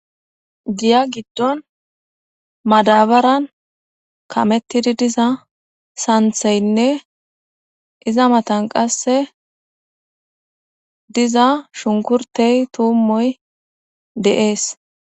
diya giddon madabaran kamettidi diza santheynne iza matan qasse diza shunkurtey tuummoy deees